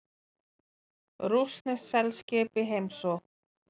Rússneskt seglskip í heimsókn